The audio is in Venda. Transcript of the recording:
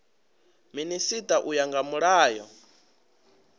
minisita u ya nga mulayo